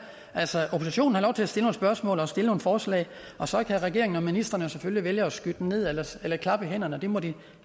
altså oppositionen har lov til at stille nogle spørgsmål og stille nogle forslag og så kan regeringen og ministrene selvfølgelig vælge enten at skyde dem ned eller klappe i hænderne det må de